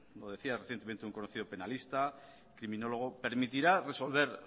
lo decía recientemente un conocido penalista criminólogo permitirá resolver